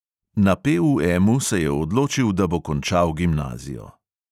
Na PUMu se je odločil, da bo končal gimnazijo.